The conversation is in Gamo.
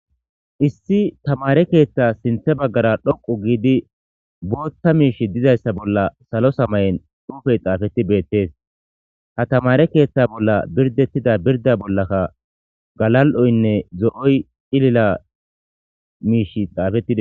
Issi tamare ketha sinitha bagara dhoqu gidii botha mishi dizayisa bolla salo samayen xupeyi xafeti betes ha tamare ketha bollan biridetida birida bolaka gala'oyinee zo'oy ilila mishi xafetides